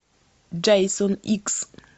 джейсон икс